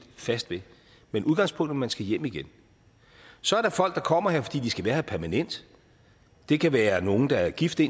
fast ved men udgangspunktet man skal hjem igen så er der folk der kommer her fordi de skal være her permanent det kan være nogle der har giftet